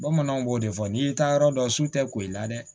Bamananw b'o de fɔ n'i y'i taa yɔrɔ dɔn su tɛ koyi la dɛ